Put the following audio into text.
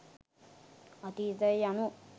අතීතය යනු